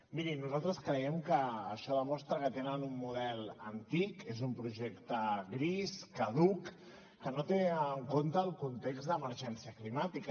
miri nosaltres creiem que això demostra que tenen un model antic és un projecte gris caduc que no té en compte el context d’emergència climàtica